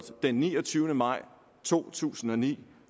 den niogtyvende maj to tusind og ni